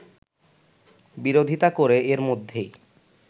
বিরোধিতা করে এর মধ্যেই